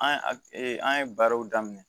An ye a an ye baaraw daminɛ